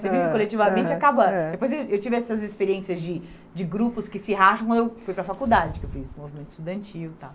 Você vive coletivamente e acaba... Depois eu tive essas experiências de de grupos que se racham quando eu fui para a faculdade, que eu fiz movimento estudantil e tal.